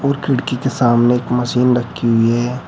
खिड़की के सामने एक मशीन रखी हुई हैं।